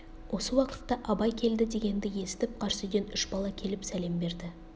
осы уақытта абай келді дегенді есітіп қарсы үйден үш бала келіп сәлем берді